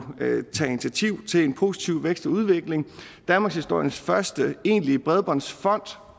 tage initiativ til en positiv vækst i udviklingen danmarkshistoriens første egentlige bredbåndsfond